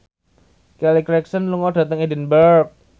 Kelly Clarkson lunga dhateng Edinburgh